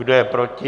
Kdo je proti?